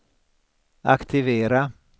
aktivera